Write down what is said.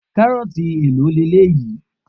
Karoti èlò eléyìí?